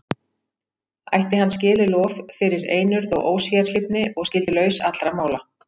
Ætti hann skilið lof fyrir einurð og ósérhlífni, og skyldi laus allra mála.